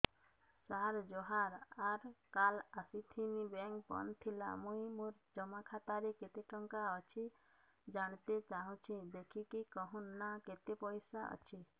ସାର ଜୁହାର ସାର କାଲ ଆସିଥିନି ବେଙ୍କ ବନ୍ଦ ଥିଲା ମୁଇଁ ମୋର ଜମା ଖାତାରେ କେତେ ଟଙ୍କା ଅଛି ଜାଣତେ ଚାହୁଁଛେ ଦେଖିକି କହୁନ ନା କେତ ପଇସା ଅଛି